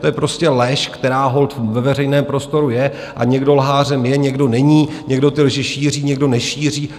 To je prostě lež, která holt ve veřejném prostoru je, a někdo lhářem je, někdo není, někdo ty lži šíří, někdo nešíří.